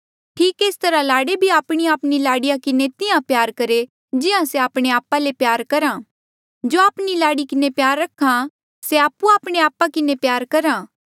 ठीक एस तरहा लाड़े भी आपणीआपणी लाड़ीया किन्हें तिहां प्यार करहे जिहां से आपणे आपा ले करहा जो आपणी लाड़ी किन्हें प्यार रख्हा से आपु आपणे आपा किन्हें प्यार करहा